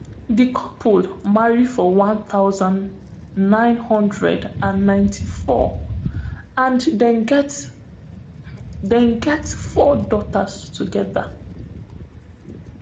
di couple marry for one thousand, nine hundred and ninety-four and dem get dem get four daughters togeda